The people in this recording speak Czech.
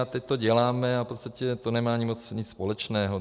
A teď to děláme a v podstatě to nemá ani moc nic společného.